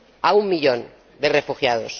menos, a un millón de refugiados.